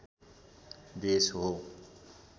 देश हो